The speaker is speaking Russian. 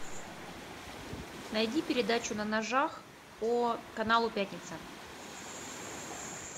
найди передачу на ножах по каналу пятница